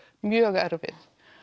mjög erfið